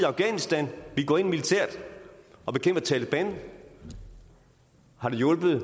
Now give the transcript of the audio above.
afghanistan vi går ind militært og bekæmper taleban har det hjulpet